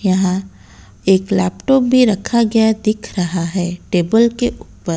यहां एक लैपटॉप भी रखा गया दिख रहा है टेबल के ऊपर।